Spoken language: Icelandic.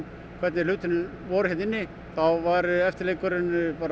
hvernig hlutirnir voru hérna inni þá var eftirleikurinn